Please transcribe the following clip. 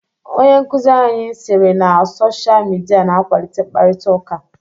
Onye nkụzi anyi sịrị na Sochaa midia n'akwalite mkparịta ụka.